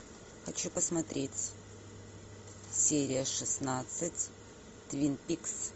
хочу посмотреть серия шестнадцать твин пикс